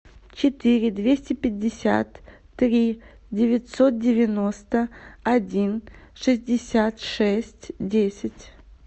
четыре двести пятьдесят три девятьсот девяносто один шестьдесят шесть десять